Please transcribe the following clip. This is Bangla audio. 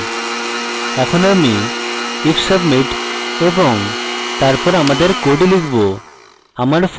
এখন আমি if submit এবং তারপর আমাদের code লিখব